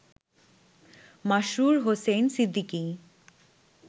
Masrur Hossain Siddiqui